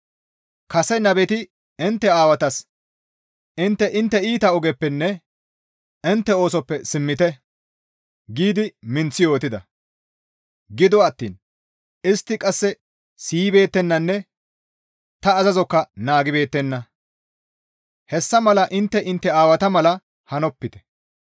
Kase nabeti intte aawatas, ‹Intte intte iita ogeppenne intte oosoppe simmite› giidi minththi yootida; gido attiin istti qasse siyibeettennanne ta azazokka naagibeettenna; hessa mala intte intte aawata mala hanopite.